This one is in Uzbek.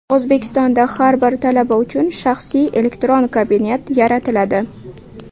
O‘zbekistonda har bir talaba uchun shaxsiy elektron kabinet yaratiladi.